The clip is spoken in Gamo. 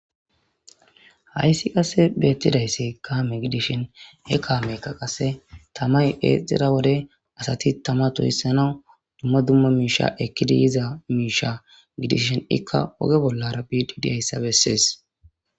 Hayssi qasse beettidaysse kaame gidishin he kaamekka qasse tamay eexxira wode asati tama tuhissanau dumma dumma miisha ekkidi yiza miisha gidishin ikka oge bollarabbi didiayssa bessees